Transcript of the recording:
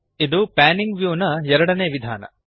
ಇದು panning the view ನ ಎರಡನೇ ವಿಧಾನ